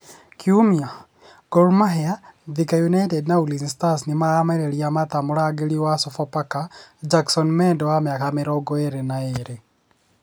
(kiumia ) Gormahia, Thika United, na Ulinzi stars nĩ maramereria mata mũrangĩri wa Sofapaka Jakson Mwende wa mĩaka mĩrongo ĩrĩ na ĩrĩ